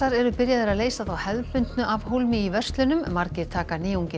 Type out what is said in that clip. eru byrjaðir að leysa þá hefðbundnu af hólmi í verslunum margir taka